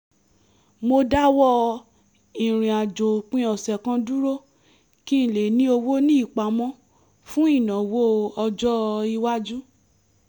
mo dáwọ́ ìràinàjò òpin ọ̀sẹ̀ kan dúró kí n lè ní owó ní ìpamọ́ fún ìnáwọ́ ọjọ́-iwájú